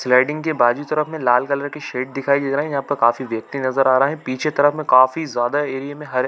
sliding के बाज़ू तरफ में लाल कलर के शेड दिखाई दे रहै है यहाँ पर काफी वयक्ति नज़र आ रहै है पीछे तरफ में काफी ज्यादा एरिए में हर--